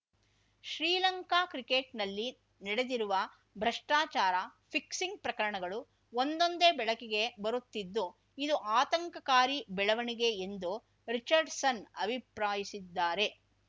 ಶ್ರೀಲಂಕಾ ಕ್ರಿಕೆಟ್‌ನಲ್ಲಿ ನಡೆದಿರುವ ಭ್ರಷ್ಟಾಚಾರ ಫಿಕ್ಸಿಂಗ್‌ ಪ್ರಕರಣಗಳು ಒಂದೊಂದೇ ಬೆಳಕಿಗೆ ಬರುತ್ತಿದ್ದು ಇದು ಆತಂಕಕಾರಿ ಬೆಳವಣಿಗೆ ಎಂದು ರಿಚರ್ಡ್‌ಸನ್‌ ಅಭಿಪ್ರಾಯಿಸಿದ್ದಾರೆ